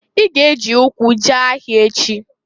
I ga-ejị ụkwụ jee ahịa echi?